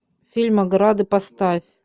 фильм ограды поставь